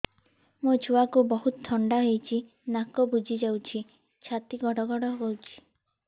ମୋ ଛୁଆକୁ ବହୁତ ଥଣ୍ଡା ହେଇଚି ନାକ ବୁଜି ଯାଉଛି ଛାତି ଘଡ ଘଡ ହଉଚି